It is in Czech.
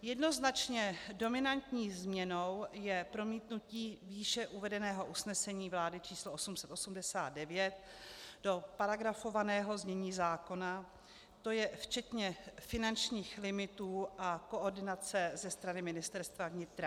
Jednoznačně dominantní změnou je promítnutí výše uvedeného usnesení vlády č. 889 do paragrafovaného znění zákona, to je včetně finančních limitů a koordinace ze strany Ministerstva vnitra.